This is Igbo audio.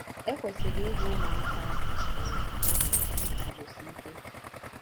E kwesịrị ịja ụmụaka um ahụ maka iguzosi ike.